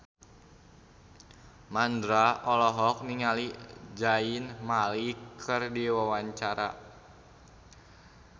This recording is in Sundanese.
Mandra olohok ningali Zayn Malik keur diwawancara